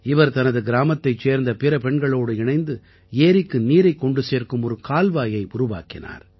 இவர் தனது கிராமத்தைச் சேர்ந்த பிற பெண்களோடு இணைந்து ஏரிக்கு நீரைக் கொண்டு சேர்க்கும் ஒரு கால்வாயை உருவாக்கினார்